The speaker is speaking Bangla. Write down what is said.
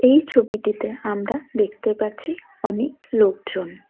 এই ছবিটিতে আমরা দেখতে পাচ্ছি অনেক লোকজন।